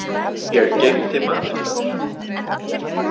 Ég geymdi mat handa þér.